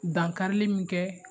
Dankarili min kɛ